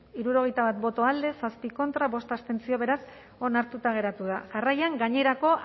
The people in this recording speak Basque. hirurogeita bat boto alde zazpi contra bost abstentzio beraz onartuta geratu da jarraian gainerako